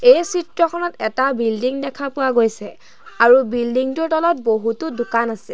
এই চিত্ৰখনত এটা বিল্ডিং দেখা পোৱা গৈছে আৰু বিল্ডিং টোৰ তলত বহুতো দোকান আছে।